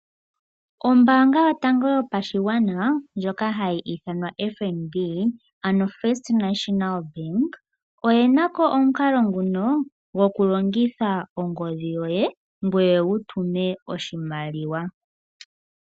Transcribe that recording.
Ombanga yotango yopashigwana ndjoka hayi ithanwa FNB ano First National Bank oye nako omukalo nguno gokulongitha ongodhi yoye ngoye wu tume oshimaliwa.